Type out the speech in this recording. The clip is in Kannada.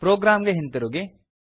ಪ್ರೊಗ್ರಾಮ್ ಗೆ ಹಿಂತಿರುಗಿ